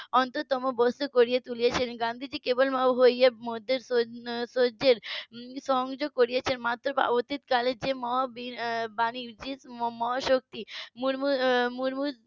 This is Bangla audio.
অন্তরতম বস্তু করে তুলেছেন গান্ধীজি কেবল ভাবুক হয়ে মধ্যে সহ্যের সংযোগ করেছেন অতীতকালের যে মহাবীর বাণীর যে মহাশক্তি উম মুর্মুর মুর্মুর